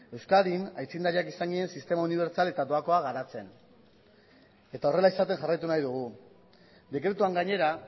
euskadin aitzindariak izan ginen sistema unibertsal eta doakoa garatzen eta horrela izaten jarraitu nahi dugu dekretuan gainera